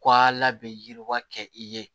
Ka ala bɛ yiriwa kɛ i ye